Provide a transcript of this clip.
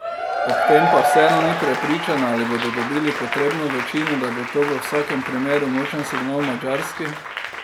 Ob tem pa vseeno ni prepričana, ali bodo dobili potrebno večino, bo pa to v vsakem primeru močan signal Madžarski.